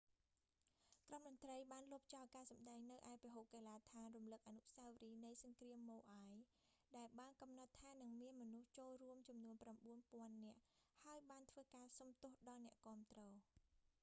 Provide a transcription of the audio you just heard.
ក្រុមតន្រ្តីបានលុបចោលការសម្តែងនៅឯពហុកីឡាដ្ឋានរំលឹកអនុស្សាវរីយ៍នៃសង្គ្រាមម៉ូអាយ maui's war memorial stadium ដែលបានកំណត់ថានឹងមានមនុស្សចូលរួមចំនួន 9000 នាក់ ហើយបានធ្វើការសុំទោសដល់អ្នកគាំទ្រ